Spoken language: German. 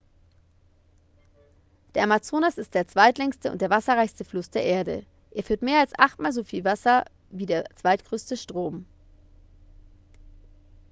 der amazonas ist der zweitlängste und der wasserreichste fluss der erde er führt mehr als achtmal so wie wasser wie der zweitgrößte strom